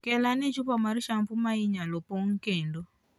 Kel ane chupa mar shampoo ma inyalo pong' kendo.